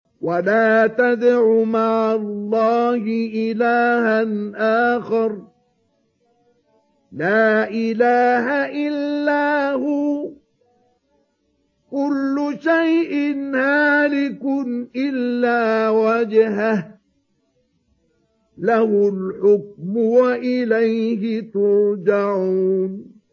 وَلَا تَدْعُ مَعَ اللَّهِ إِلَٰهًا آخَرَ ۘ لَا إِلَٰهَ إِلَّا هُوَ ۚ كُلُّ شَيْءٍ هَالِكٌ إِلَّا وَجْهَهُ ۚ لَهُ الْحُكْمُ وَإِلَيْهِ تُرْجَعُونَ